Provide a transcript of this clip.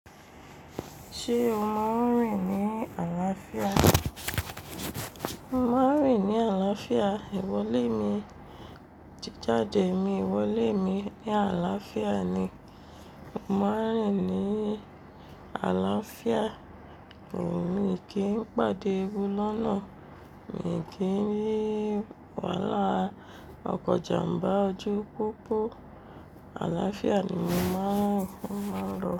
Ṣé o máa ń rìn ní àlàáfíà? Mo máa ń rìn ní àlàáfíà. Ìwọlé mi, tí jáde mi, ìwọlé mi ní àlàáfíà ni. Mo máa ń rìn ní àlàáfíà. Mi kì í pàdé ebu lọ́nà. Mi kì í rí wàhálà ọkọ̀ ìjàmbá ọjọ́ púpọ̀. Àlàáfíà ni mo máa ń lọ.